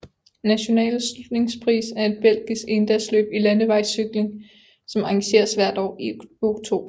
Nationale Sluitingsprijs er et belgisk endagsløb i landevejscykling som arrangeres hvert år i oktober